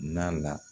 Na la